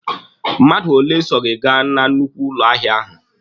Mmadụ ole so gị gaa na nnukwu ụlọ ahịa ahụ!